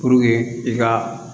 Puruke i ka